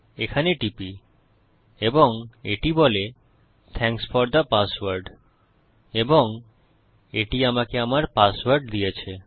এখানে টিপি এবং এটি বলে থ্যাংকস ফোর থে পাসওয়ার্ড এবং এটি আমাকে আমার পাসওয়ার্ড দিয়েছে